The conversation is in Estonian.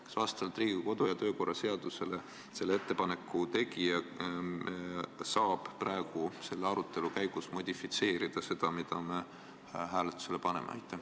Kas vastavalt Riigikogu kodu- ja töökorra seadusele saab selle ettepaneku tegija praegu selle arutelu käigus paremini modifitseerida seda, mida me hääletama hakkame?